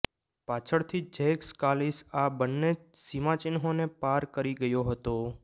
પાછળથી Jacques Kallis આ બંને સિમાચિહ્નોને પાર કરી ગયો હતો